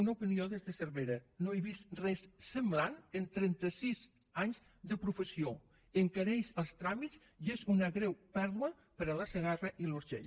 una opinió des de cervera no he vist res semblant en trenta sis anys de professió encareix els tràmits i és una greu pèrdua per a la segarra i l’urgell